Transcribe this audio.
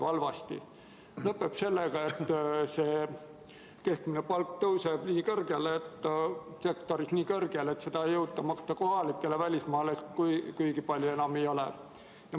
See lõpeb sellega, et keskmine palk tõuseb sektoris nii kõrgele, et seda ei jõuta maksta kohalikele ja välismaalasi kuigi palju enam ei ole.